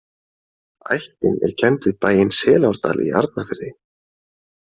Ættin er kennd við bæinn Selárdal í Arnarfirði.